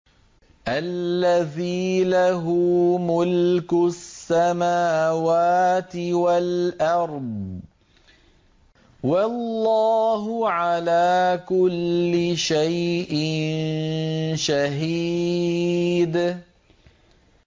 الَّذِي لَهُ مُلْكُ السَّمَاوَاتِ وَالْأَرْضِ ۚ وَاللَّهُ عَلَىٰ كُلِّ شَيْءٍ شَهِيدٌ